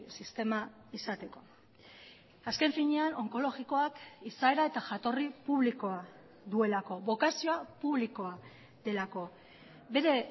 sistema izateko azken finean onkologikoak izaera eta jatorri publikoa duelako bokazioa publikoa delako bere